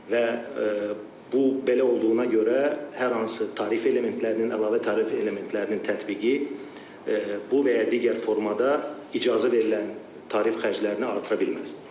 Və bu belə olduğuna görə hər hansı tarif elementlərinin, əlavə tarif elementlərinin tətbiqi bu və ya digər formada icazə verilən tarif xərclərini artıra bilməz.